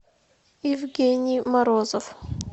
евгений морозов